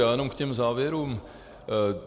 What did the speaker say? Já jenom k těm závěrům.